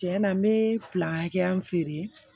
Tiɲɛ na n bɛ hakɛya min feere